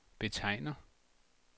betegner